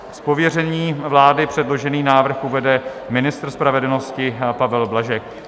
Z pověření vlády předložený návrh uvede ministr spravedlnosti Pavel Blažek.